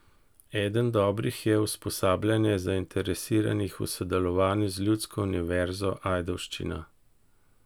Eden dobrih je usposabljanje zainteresiranih v sodelovanju z Ljudsko univerzo Ajdovščina.